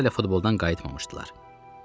Uşaqlar elə futboldan qayıtmamışdılar.